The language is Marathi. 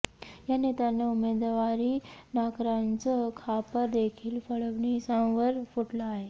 या नेत्यांना उमेदवारी नाकारण्याचं खापर देखील फडणवीसांवर फुटलं आहे